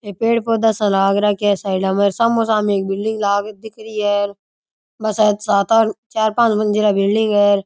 पेड़ पौधा सा लाग रखया है साईडा में और समो सामने एक बिल्ड़िग लाग दिख री है बस सात आठ चार पांच मंजिला बिलडिंग है।